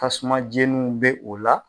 Tasuma jeniw bɛ o la.